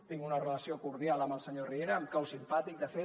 tinc una relació cordial amb el senyor riera em cau simpàtic de fet